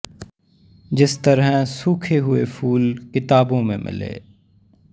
ਜਿਸ ਤਰਹ ਸੂਖੇ ਹੁਏ ਫੂਲ ਕਿਤਾਬੋਂ ਮੇਂ ਮਿਲੇਂ